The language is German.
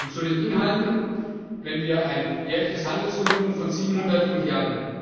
Zu den Inhalten Wenn wir ein jährliches Handelsvolumen von 700 Mrd.